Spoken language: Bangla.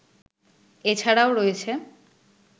এ ছাড়াও রয়েছে